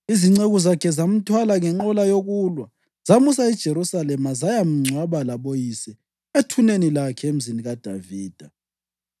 Izinceku zakhe zamthwala ngenqola yokulwa zamusa eJerusalema zayamngcwaba laboyise ethuneni lakhe eMzini kaDavida.